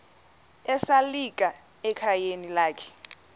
esalika ekhayeni lakhe